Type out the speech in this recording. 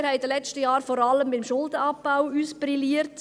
Wir haben in den letzten Jahren vor allem beim Schuldenabbau brilliert.